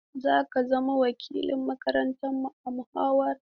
Za ka zama wakilin makarantarmu a muhawarar.